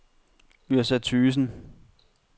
Yrsa Thøgersen